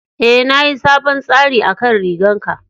E, na yi sabon tsari akan rigan ka.